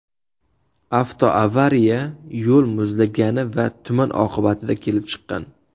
Avtoavariya yo‘l muzlagani va tuman oqibatida kelib chiqqan.